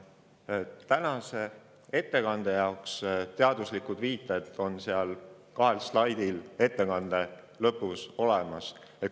Tänase ettekande teaduslikud viited on kahel ettekande viimasel slaidil olemas.